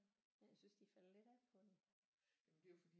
Men jeg synes de er faldet lidt af på den